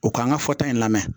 U k'an ka fɔta in lamɛn